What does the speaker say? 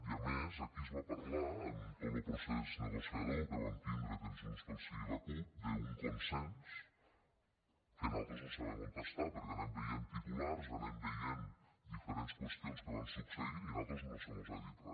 i a més aquí es va parlar en tot lo procés negociador que vam tindre junts pel sí i la cup d’un consens que nosaltres no sabem on està perquè anem veient titulars anem veient diferents qüestions que van succeint i a nosaltres no se mos ha dit re